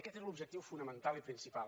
i aquest era l’objectiu fonamental i principal